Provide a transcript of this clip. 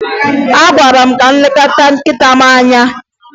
Agwara m gị leta nkịta m anya!